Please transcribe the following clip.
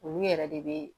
Olu yɛrɛ de bɛ